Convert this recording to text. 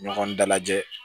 Ɲɔgɔn dalajɛ